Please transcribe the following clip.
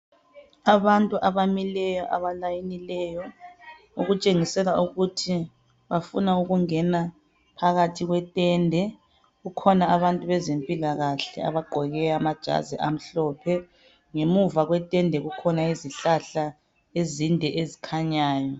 Abantu abamileyo abalayinileyo ukutshengisela ukuthi bafuna ukungena phakathi kwetende kukhona abantu bezempilakahle abagqoke amajazi amhlophe ngemuva kwetende kukhona izihlahla ezinde ezikhanyayo